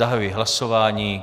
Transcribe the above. Zahajuji hlasování.